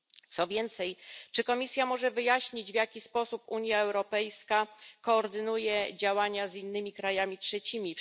Co więcej, czy Komisja może wyjaśnić, w jaki sposób Unia Europejska koordynuje działania z innymi państwami trzecimi?